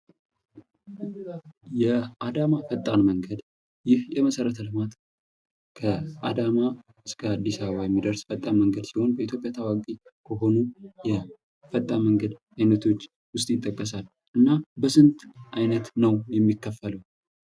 የአዳማ ፈጣን መንገድ ይህ የመሰረተ ልማት ከአዳማ እስከ አዲስ አበባ የሚደርስ ፈጣን መንገድ ሲሆን በኢትዮጵያ ታዋቂ ከሆኑ የፈጣን የመንገድ አይነቶች ውስጥ ይጠቀሳል። እና በስንት አይነት ነው የሚከፈልው?